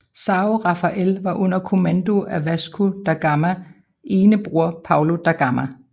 São Rafael var under kommando af Vasco da Gamas ene bror Paulo da Gama